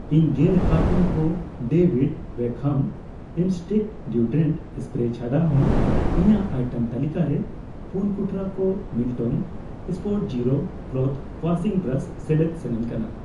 ᱤᱧ ᱜᱮᱞ ᱠᱟᱨᱴᱩᱱ ᱠᱚ David Beckham instinct deodorant spray ᱪᱷᱟᱰᱟ ᱦᱚ ᱤᱧᱟᱹᱜ ᱟᱭᱴᱮᱢ ᱛᱟᱹᱞᱤᱠᱟ ᱨᱮ ᱯᱩᱱ ᱠᱩᱴᱨᱟᱹ ᱠᱚ Milton spotzero clothes washing brush ᱥᱮᱞᱮᱫ ᱥᱟᱱᱟᱧ ᱠᱟᱱᱟ ᱾